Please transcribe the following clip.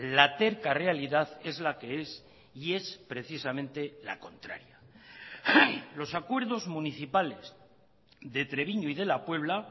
la terca realidad es la que es y es precisamente la contraria los acuerdos municipales de treviño y de la puebla